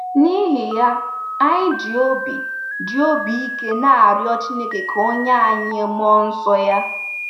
N'ihi ya, anyị ji obi ji obi ike na-arịọ Chineke ka o nye anyị mmụọ nsọ ya.